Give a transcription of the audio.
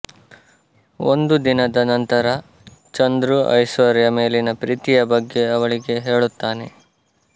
ಒಂದು ದಿನದ ನಂತರ ಚಂದ್ರು ಐಶ್ವರ್ಯ ಮೇಲಿನ ಪ್ರೀತಿಯ ಬಗ್ಗೆ ಅವಳಿಗೆ ಹೇಳುತ್ತಾನೆ